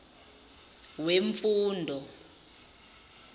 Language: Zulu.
wemfundo